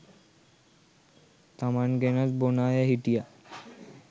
තමන් ගෙනත් බොන අය හිටියා